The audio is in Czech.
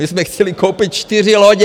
My jsme chtěli koupit čtyři lodě.